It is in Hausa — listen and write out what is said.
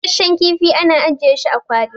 busasshen kifi ana ajiye shi a kwali